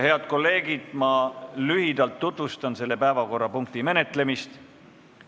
Head kolleegid, ma lühidalt tutvustan selle päevakorrapunkti menetlemist.